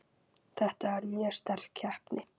Þetta var mjög sterk keppni.